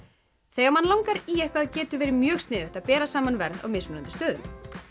þegar mann langar í eitthvað getur verið mjög sniðugt að bera saman verð á mismunandi stöðum